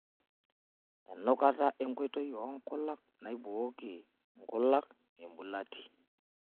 Enukata enkoitoi oonkulak naibooki nkulak embulati.